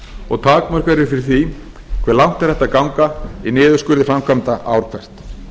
og takmörk eru fyrir því hve langt er hægt að ganga í niðurskurði framkvæmda ár hvert